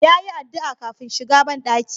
Ya yi addu'a kafin shiga banɗaki.